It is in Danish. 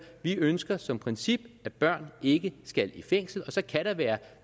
vi ønsker som princip at børn ikke skal i fængsel og så kan der være